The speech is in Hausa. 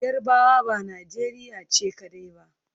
Yarbawa ba Najeriya ce kadai ba.